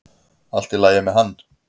Allt í lagi með hann!